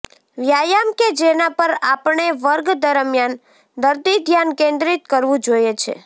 વ્યાયામ કે જેના પર આપણે વર્ગ દરમિયાન દર્દી ધ્યાન કેન્દ્રિત કરવું જોઈએ છે